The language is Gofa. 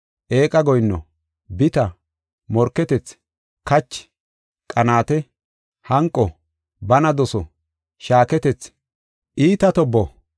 eeqa goyinno, bita, morketethi, kachi, qanaate, hanqo, bana doso, shaaketethi, iita tobbo